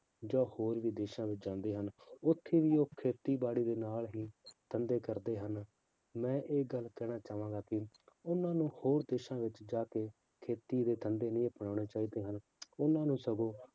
ਜਾਂ ਹੋਰ ਵੀ ਦੇਸਾਂ ਵਿੱਚ ਜਾਂਦੇ ਹਨ, ਉੱਥੇ ਵੀ ਉਹ ਖੇਤੀਬਾੜੀ ਦੇ ਨਾਲ ਹੀ ਧੰਦੇ ਕਰਦੇ ਹਨ, ਮੈਂ ਇਹ ਗੱਲ ਕਹਿਣਾ ਚਾਹਾਂਗਾ ਕਿ ਉਹਨਾਂ ਨੂੰ ਹੋਰ ਦੇਸਾਂ ਵਿੱਚ ਜਾ ਕੇ ਖੇਤੀ ਦੇ ਧੰਦੇ ਵੀ ਅਪਨਾਉਣੇ ਚਾਹੀਦੇ ਹਨ, ਉਹਨਾਂ ਨੂੰ ਸਗੋਂ